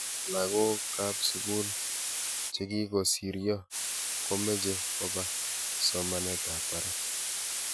lagookab sugul chegigosiryo komeche kobaa somanetab barak